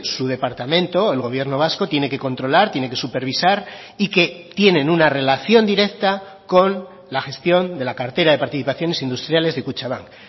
su departamento el gobierno vasco tiene que controlar tiene que supervisar y que tienen una relación directa con la gestión de la cartera de participaciones industriales de kutxabank